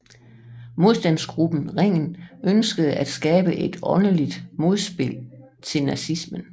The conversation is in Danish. Modstandsgruppen Ringen ønskede at skabe et åndeligt modspil til nazismen